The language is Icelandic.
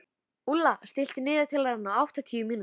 Úlla, stilltu niðurteljara á áttatíu mínútur.